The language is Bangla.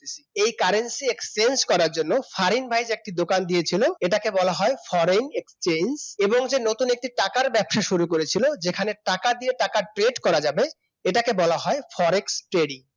এই Currency exchange করার জন্য ফারিন ভাই যে একটি দোকান দিয়েছিল এটাকে বলা হয় Foreign Exchange এবং যে একটি নতুন টাকার ব্যবসা শুরু করেছিল যেখানে টাকা দিয়ে টাকা Trade করা যাবে এটাকে বলা হয় Forex Trading